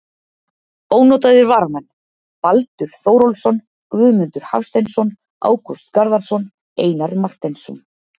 Ónotaðir varamenn: Baldur Þórólfsson, Guðmundur Hafsteinsson, Ágúst Garðarsson, Einar Marteinsson.